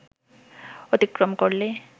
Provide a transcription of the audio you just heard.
অতিক্রম করলে